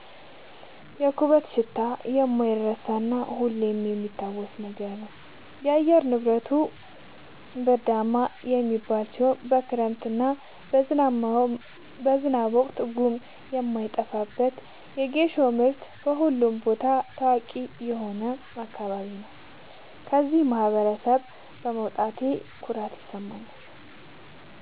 የኩበቱ ሽታ የማይረሳ እና ሁሌም የሚታወስ ነገር ነው። አየር ንብረቱ ብርዳማ የሚባል ሲሆን በክረምት እና በዝናብ ወቅት ጉም የማይጠፋበት በጌሾ ምርት በሁሉም ቦታ ታዋቂ የሆነ አካባቢ ነው። ከዚህ ማህበረሰብ በመውጣቴ ኩራት ይሰማኛል።